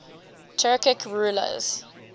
turkic rulers